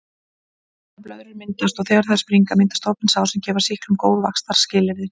Brunablöðrur myndast og þegar þær springa myndast opin sár sem gefa sýklum góð vaxtarskilyrði.